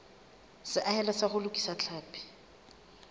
seahelo sa ho lokisa tlhapi